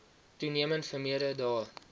toenemend vermeerder daar